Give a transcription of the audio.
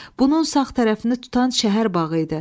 Bunun sağ tərəfini tutan şəhər bağı idi.